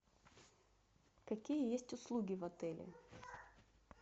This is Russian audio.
какие есть услуги в отеле